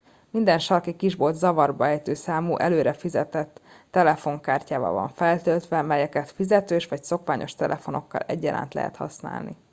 minden sarki kisbolt zavarba ejtő számú előre fizetett telefonkártyával van feltöltve melyeket fizetős vagy szokványos telefonokkal egyaránt lehet használni